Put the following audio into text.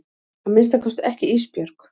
Að minnsta kosti ekki Ísbjörg.